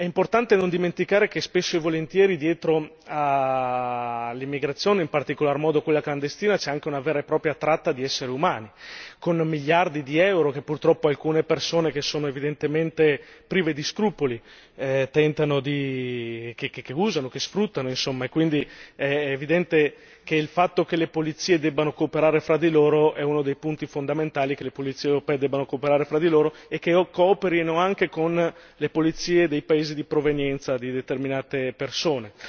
È importante non dimenticare che spesso e volentieri dietro all'immigrazione, in particolar modo quella clandestina, c'è anche una vera e propria tratta di esseri umani, con miliardi di euro che purtroppo alcune persone che sono evidentemente prive di scrupoli tentano, usano, sfruttano insomma e quindi è evidente che il fatto che le polizie debbano cooperare fra di loro è uno dei punti fondamentali, che le polizie europee debbano cooperare fra di loro, e che cooperino anche con le polizie dei paesi di provenienza di determinate persone.